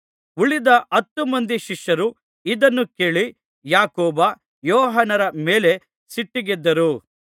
ಉಳಿದ ಹತ್ತು ಮಂದಿ ಶಿಷ್ಯರು ಇದನ್ನು ಕೇಳಿ ಯಾಕೋಬ ಯೋಹಾನರ ಮೇಲೆ ಸಿಟ್ಟಿಗೆದ್ದರು